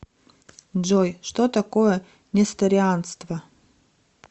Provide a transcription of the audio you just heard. джой что такое несторианство